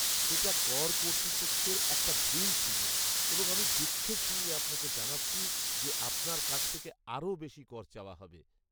সেটা কর কর্তৃপক্ষের একটা ভুল ছিল এবং আমি দুঃখের সঙ্গে আপনাকে জানাচ্ছি যে আপনার কাছ থেকে আরও বেশি কর চাওয়া হবে।